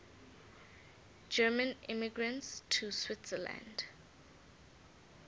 german immigrants to switzerland